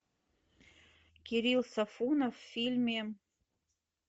кирилл сафонов в фильме